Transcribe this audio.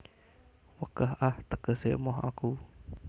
Wegah ah tegese emoh aku